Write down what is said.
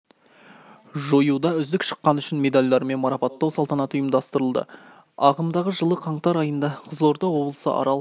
жоюда үздік шыққаны үшін медальдарымен марапаттау салтанаты ұйымдастырылды ағымдағы жылы қаңтар айында қызылорда облысы арал